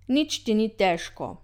Nič ti ni težko.